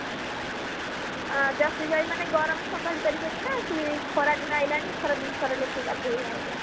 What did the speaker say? Jersey ଗାଈମାନେ ଗରମ ସମାଲି ପାରିବେନି ନା ସିଏ ଖରା ଦିନ ଆଇଲାଣି ଏଥର ଦିଥର ଳାଖେ ଗାଧଉ ନାହାନ୍ତି